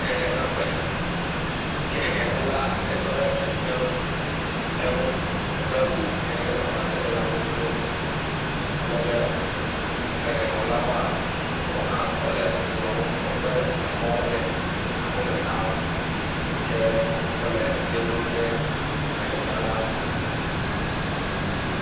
Hehenaƒe yi ke hehenala tɔ ɖe ekpe ŋu hedo awu yi ke ƒe amadede le abe blɔɔ. Alebe hehexɔlawoa, yewo hã, wole ekplɔ̃ ŋu woƒe emɔ̃wo le akɔme na wo yi ke wole eto lém ɖe hehenala ŋu.